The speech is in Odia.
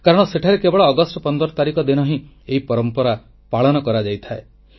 କାରଣ ସେଠାରେ କେବଳ ଅଗଷ୍ଟ 15 ତାରିଖ ଦିନ ହିଁ ଏହି ପରମ୍ପରା ପାଳନ କରାଯାଇଥାଏ